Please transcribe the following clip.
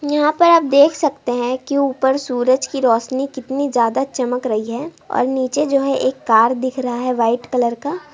यहाँ पर आप देख सकते हैं कि ऊपर सूरज की रोशनी कितनी ज्यादा चमक रही है और नीचे जो है एक कार दिख रहा है वाइट कलर का।